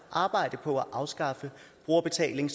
arbejde på at afskaffe brugerbetaling